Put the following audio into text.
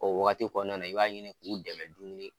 O wagati kɔnɔna na i b'a ɲini k'u dɛmɛ dumuni